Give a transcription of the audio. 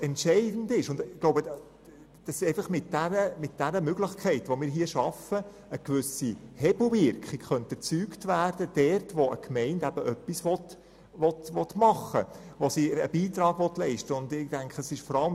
Entscheidend ist aber, dass mit dieser Möglichkeit, die wir hier schaffen, dort eine gewisse Hebelwirkung erzeugt werden kann, wo eine Gemeinde etwas machen, wo sie einen Beitrag leisten möchte.